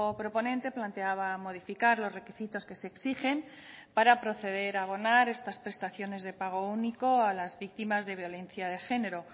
proponente planteaba modificar los requisitos que se exigen para proceder a abonar estas prestaciones de pago único a las víctimas de violencia de género